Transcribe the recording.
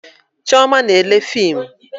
Chioma na-ele fimu